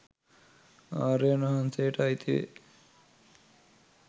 ආර්යයන් වහන්සේට අයිති වේ.